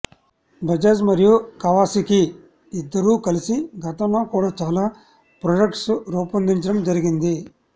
బజాజ్ మరియు కవాసికీ ఇద్దరూ కలసి గతంలో కూడా చాలా ప్రోడక్ట్స్ రూపోందించడం జరిగింది